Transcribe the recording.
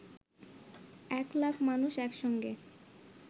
১ লাখ মানুষ একসঙ্গে